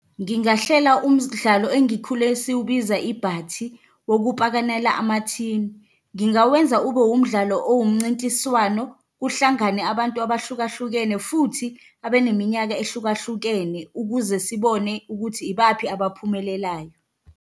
Ngingahlela umdlalo engikhule siwubiza ibhathi, wokupakanela amathini. Ngingawenza ube umdlalo owumncintiswano, kuhlangane abantu abahlukahlukene, futhi abe neminyaka ehlukahlukene ukuze sibone ukuthi ibaphi abaphumelelayo.